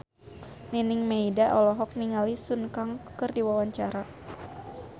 Nining Meida olohok ningali Sun Kang keur diwawancara